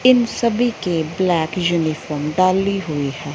इन सभी के black uniform डाली हुई है।